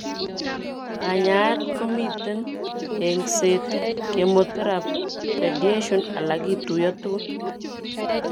Kanyaeet komiten eng'seet, chemoteraphy, radiation ala kituuiyo tugul